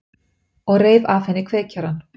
Og reif af henni kveikjarann.